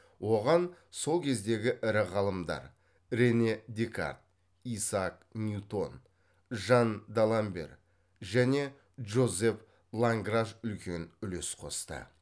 оған сол кездегі ірі ғалымдар рене декарт исаак ньютон жан даламбер және жозеф ланграж үлкен үлес қосты